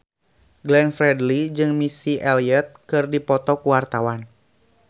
Glenn Fredly jeung Missy Elliott keur dipoto ku wartawan